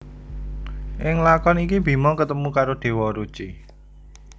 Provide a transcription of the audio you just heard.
Ing lakon iki Bima ketemu karo Déwa Ruci